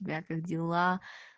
у тебя как дела